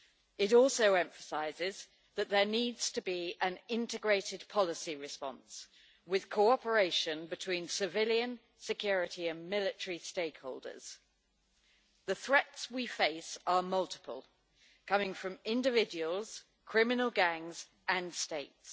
It also emphasises that there needs to be an integrated policy response with cooperation between civilian, security and military stakeholders. The threats we face are multiple, coming from individuals, criminal gangs and states.